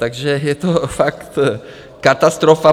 Takže je to fakt katastrofa.